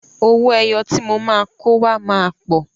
Owó ẹyọ tí mo máa kó wá máa pọ̀.